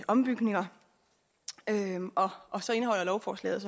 ombygninger og så indeholder lovforslaget